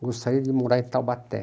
Eu gostaria de morar em Taubaté.